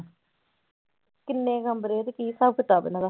ਕਿੰਨੇ ਕਮਰੇ ਆ ਤੇ ਕੀ ਹਿਸਾਬ ਕਿਤਾਬ ਇਹਨਾਂ ਦਾ।